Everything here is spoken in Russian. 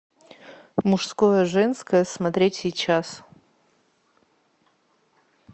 мужское женское смотреть сейчас